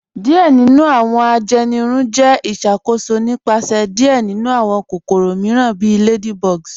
Diẹ̀ nínu awọn ajẹ́nìrùn jẹ́ ìṣakóṣò nípasẹ̀ diẹ̀ nínu awọn kòkòrò míìràn bí ladybugs.